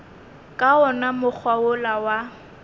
ka wona mokgwa wola wa